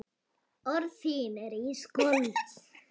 Orð þín eru ísköld.